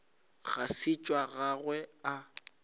ga se tša gagwe a